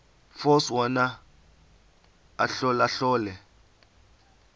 force wona ahlolahlole